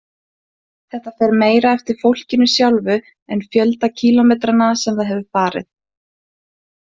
Þetta fer meira eftir fólkinu sjálfu en fjölda kílómetranna sem það hefur farið.